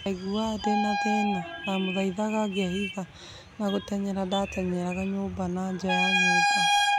Ndaiguaga ndĩna thĩna, ndamũthaithaga, ngebitha na gũtengera-ndatengeraga nyumba na nja ya nyumba